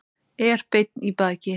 Er beinn í baki.